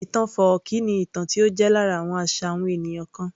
Ìtàn fọ́ọ̀kí ni ìtàn tó jẹ́ lára àwọn àṣà àwọn ènìyàn kan